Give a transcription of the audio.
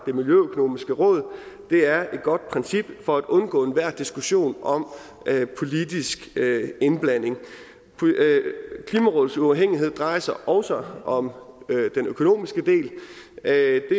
det miljøøkonomiske råd det er et godt princip for at undgå enhver diskussion om politisk indblanding klimarådets uafhængighed drejer sig også om den økonomiske del det er